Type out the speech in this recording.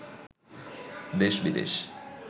দেশ বিদেশ